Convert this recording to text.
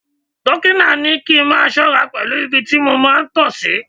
Dọ́kítà ní kí n máa ṣọ́ra pẹ̀lú ibi tí mo máa ń tọ sí.